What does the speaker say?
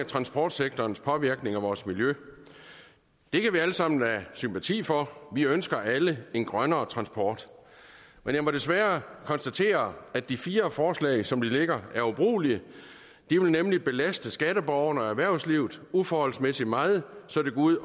transportsektorens påvirkning af vores miljø det kan vi alle sammen have sympati for vi ønsker alle en grønnere transport men jeg må desværre konstatere at de fire forslag som de ligger er ubrugelige de vil nemlig belaste skatteborgerne og erhvervslivet uforholdsmæssig meget så det går ud